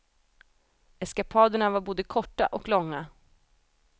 Eskapaderna var både korta och långa.